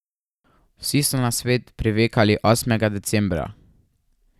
Vsi so na svet privekali osmega decembra.